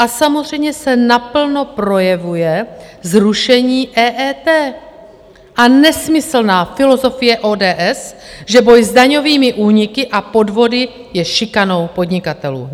A samozřejmě se naplno projevuje zrušení EET a nesmyslná filozofie ODS, že boj s daňovými úniky a podvody je šikanou podnikatelů.